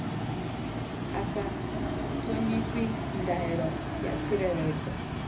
a sa ṱhonifhi ndaela ya tsireledzo